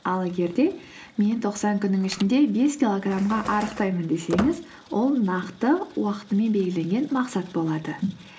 ал егер де мен тоқсан күннің ішінде бес килограммға арықтаймын десеңіз ол нақты уақытымен белгіленген мақсат болады